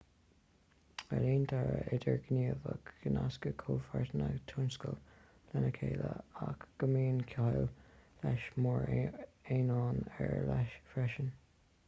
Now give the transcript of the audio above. éilíonn dearadh idirghníomhach go nascann comhpháirteanna tionscadail lena chéile ach go mbíonn ciall leis mar aonán ar leith freisin